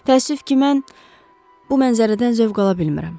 Təəssüf ki, mən bu mənzərədən zövq ala bilmirəm.